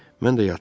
Mən də yatıram.